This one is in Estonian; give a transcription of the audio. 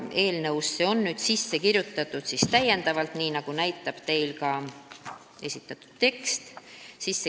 Eelnõusse on nüüd kirjutatud täiendavad punktid, nagu näitab ka teile esitatud tekst.